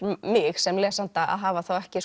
mig sem lesanda að hafa þá ekki